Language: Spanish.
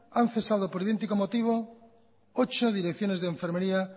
han cesado por idéntico motivo ocho direcciones de enfermería